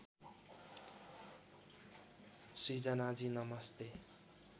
सृजनाजी नमस्ते